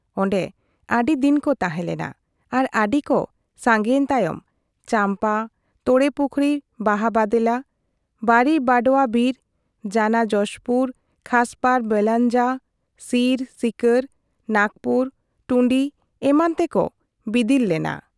ᱚᱱᱰᱮ ᱟᱹᱰᱤ ᱫᱤᱱ ᱠᱚ ᱛᱟᱦᱮᱸᱞᱮᱱᱟ ᱟᱨ ᱟᱹᱰᱤᱠᱚ ᱥᱟᱝᱜᱮᱭᱮᱱ ᱛᱟᱭᱚᱢ ᱪᱟᱢᱯᱟ, ᱛᱳᱲᱮᱯᱩᱠᱷᱨᱤ ᱵᱟᱦᱟ ᱵᱟᱸᱫᱮᱞᱟ, ᱵᱟᱹᱨᱤ ᱵᱟᱰᱣᱟ ᱵᱤᱨ, ᱡᱟᱱᱟ ᱡᱚᱥᱯᱩᱨ, ᱠᱷᱟᱥᱯᱟᱲ ᱵᱮᱞᱟᱶᱡᱟ, ᱥᱤᱨ, ᱥᱤᱠᱟᱹᱨ, ᱱᱟᱜᱽᱯᱩᱨ, ᱴᱩᱸᱰᱤ ᱮᱢᱟᱱ ᱛᱮᱠᱚ ᱵᱤᱫᱤᱞ ᱞᱮᱱᱟ ᱾